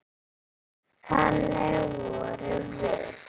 Þannig vorum við.